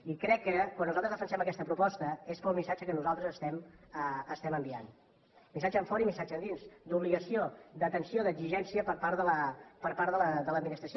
i crec que quan nosaltres defensem aquesta proposta és pel missatge que nosaltres estem enviant missatge enfora i missatge endins d’obligació d’atenció d’exigència per part de l’administració